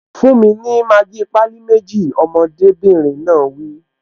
Fún mi ní Maggi pálí méjì! Ọmọdébìnrin náà wí